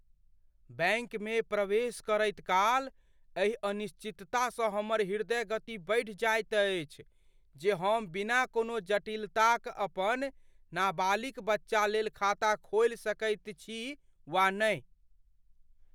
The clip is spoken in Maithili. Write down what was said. बैँकमे प्रवेश करैतकाल एहि अनिश्चिततासँ हमर हृदयगति बढ़ि जाइत अछि जे हम बिना कोनो जटिलताक अपन नाबालिक बच्चालेल खाता खोलि सकैत छी वा नहि।